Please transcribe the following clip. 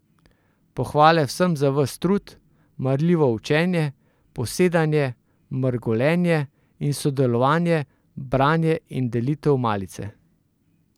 Pohvale vsem za ves trud, marljivo učenje, posedanje, mrgolenje in sodelovanje, branje in delitev malice.